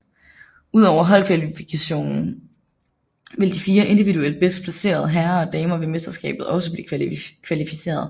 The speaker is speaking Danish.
Ud over holdkvalifikationen vil de 4 individuelt bedst placerede herrer og damer ved mesterskabet også blive kvalificeret